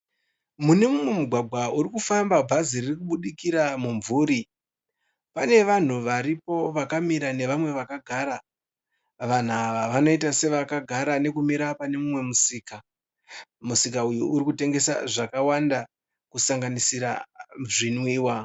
Mune mumwe mugwagwa urikufamba bhazi ririkudikira mumvuri. Pane vanhu varipo vakamira nevamwe vakagara. Vanhu ava vanoita sevakagara nekumira pane mumwe musika. Musika uyu uri kutengesa zvakawanda kusanganisira zvinwiwa.